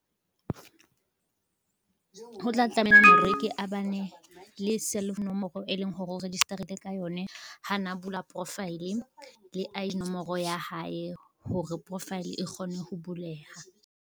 Ho tla tlameha hore ke a bane, le cell nomoro e leng hore o register-ile ka yone ha na bula profile, le I_D nomoro ya hae hore profile e kgone ho buleha.